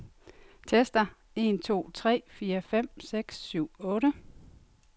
Tester en to tre fire fem seks syv otte.